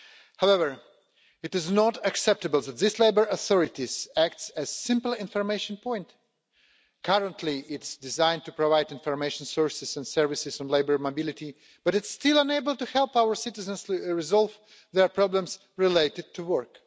However, it is not acceptable that this European Labour Authority acts as a simple information point. Currently, it's designed to provide information sources and services on labour mobility, but it's still unable to help our citizens resolve their problems related to work.